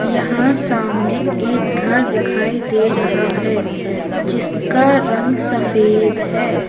यहां सामने एक घर दिखाई दे रहा है। जिसका रंग सफेद है।